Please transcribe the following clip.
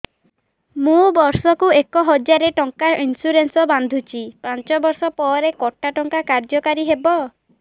ମୁ ବର୍ଷ କୁ ଏକ ହଜାରେ ଟଙ୍କା ଇନ୍ସୁରେନ୍ସ ବାନ୍ଧୁଛି ପାଞ୍ଚ ବର୍ଷ ପରେ କଟା ଟଙ୍କା କାର୍ଯ୍ୟ କାରି ହେବ